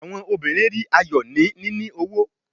Awọn obirin ri ayọ ni nini owo